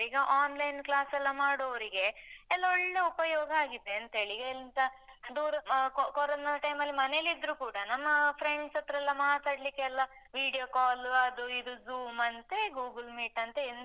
ಈಗ online class ಎಲ್ಲ ಮಾಡುವವರಿಗೆ, ಎಲ್ಲ ಒಳ್ಳೆ ಉಪಯೋಗ ಆಗಿದೆ ಅಂತೇಳಿ. ಎಂತ ದೂ ಆ ಕೊ ಕೊರೊನ time ಅಲ್ಲಿ ಮನೆಯಲ್ಲಿದ್ರೂ ಕೂಡ, ನಮ್ಮ friends ಹತ್ರ ಎಲ್ಲ ಮಾತಾಡ್ಲಿಕ್ಕೆಲ್ಲ video call , ಅದು ಇದು Zoom ಅಂತೆ, Google meet ಅಂತೆ